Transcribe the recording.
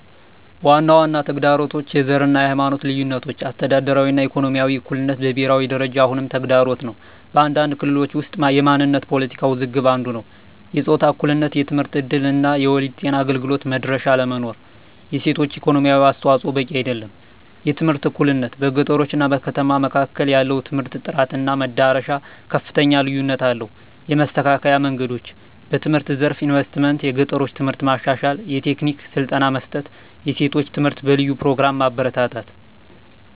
ዋና ዋና ተግዳሮቶች፦ # የዘር እና የሃይማኖት ልዩነቶች - አስተዳደራዊ እና ኢኮኖሚያዊ እኩልነት በብሄራዊ ደረጃ አሁንም ተግዳሮት ነው። በአንዳንድ ክልሎች ውስጥ የማንነት ፖለቲካ ውዝግብ አንዱ ነዉ። #የጾታ እኩልነት የትምህርት እድል እና የወሊድ ጤና አገልግሎት መድረሻ አለመኖር። የሴቶች የኢኮኖሚ አስተዋፅዖ በቂ አይደለም። #የትምህርት እኩልነት - በገጠሮች እና ከተሞች መካከል ያለው የትምህርት ጥራት እና መድረሻ ከፍተኛ ልዩነት አለው። የመስተካከል መንገዶች፦ #በትምህርት ዘርፍ ኢንቨስትመንት - የገጠሮችን ትምህርት ማሻሻል፣ የቴክኒክ ስልጠና መስጠት፣ የሴቶች ትምህርት በልዩ ፕሮግራሞች ማበረታታት።